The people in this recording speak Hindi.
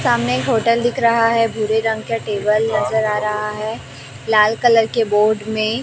सामने एक होटल दिख रहा है भूरे रंग का टेबल नजर आ रहा है लाल कलर के बोर्ड में--